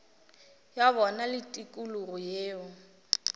ya bona le tikologo yeo